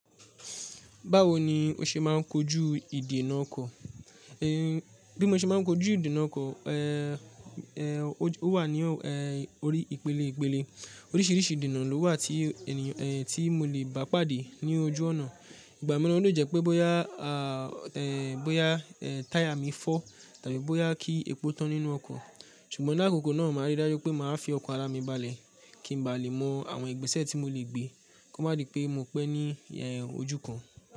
Báwo ni o ṣe máa ń kojú ìdènà ọkọ̀? Bi mo ṣe máa ń kojú ìdènà ọkọ̀, eh, eh ó wà ní ọ̀, eh orí ìpele ìpele. Oríṣìíríṣìí ìdènà lówà tí ènìyàn, eh tí mo le bá pàdé ní ojú ọ̀nà. Ìgbà mìíràn ó le jẹ́ pé bóyá, ah, eh bóyá, eh táyà mi fọ́ tàbí bóyá kí epo tán nínú ọkọ̀. Ṣùgbọ́n lákòókò náà, màá rí dájú pé màá fi ọkan ara mi balẹ̀ kí n ba lè mọ àwọn ìgbésẹ̀ tí mo le gbé kó má di pé mo pẹ́ ní ojú kan.